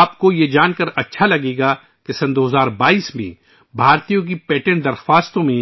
آپ کو یہ جان کر خوشی ہوگی کہ 2022 ء میں بھارتیوں کی جانب سے پیٹنٹ کی درخواستوں میں